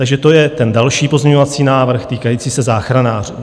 Takže to je ten další pozměňovací návrh týkající se záchranářů.